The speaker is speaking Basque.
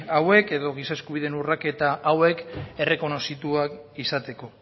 hauek edo giza eskubideen urraketa hauek errekonozituak izateko